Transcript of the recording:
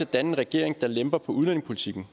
danne en regering der lemper på udlændingepolitikken